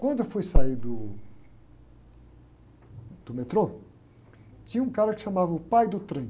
Quando eu fui sair do, do metrô, tinha um cara que chamava o pai do trem.